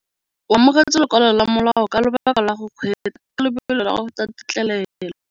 O amogetse lokwalô lwa molao ka lobaka lwa go kgweetsa ka lobelo la go feta têtlêlêlô.